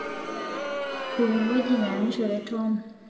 eng'ueji nayamishore Tom